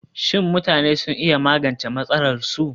Shin mutanen sun iya magance matsalarsu?